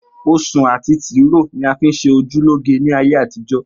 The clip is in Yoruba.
Osun ati tiro ni a fi nṣe oju loge ni aye àtijọ.